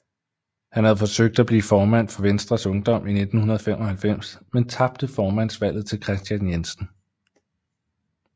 Han havde forsøgt at blive formand for Venstres Ungdom i 1995 men tabte formandsvalget til Kristian Jensen